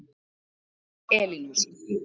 Elín Ósk.